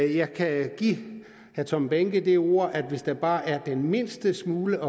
jeg kan give herre tom behnke det ord at hvis der bare er den mindste smule